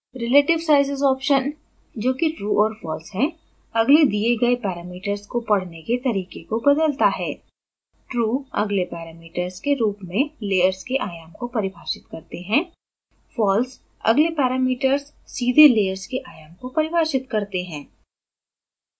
relativesizes option जो कि true or false है अगले दिए गए parameters को पढने के तरीके को बदलता है